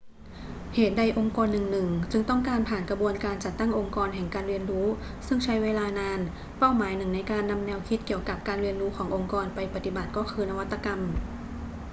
เหตุใดองค์กรหนึ่ง ๆ จึงต้องการผ่านกระบวนการจัดตั้งองค์กรแห่งการเรียนรู้ซึ่งใช้เวลานาน เป้าหมายหนึ่งในการนำแนวคิดเกี่ยวกับการเรียนรู้ขององค์กรไปปฏิบัติก็คือนวัตกรรม